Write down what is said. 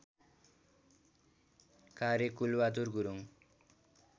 कार्य कुलबहादुर गुरुङ